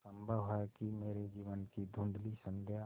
संभव है कि मेरे जीवन की धँुधली संध्या